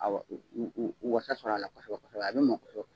Awɔ w w w wasa sɔrɔ a la , a bɛ mɔn kosɛbɛ .